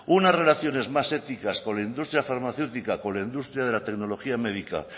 unas relaciones más éticas con la industria farmacéutica con la industria de la tecnología médica